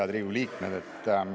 Head Riigikogu liikmed!